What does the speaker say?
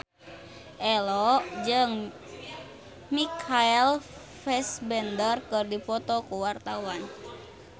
Ello jeung Michael Fassbender keur dipoto ku wartawan